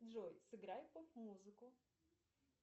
джой сыграй поп музыку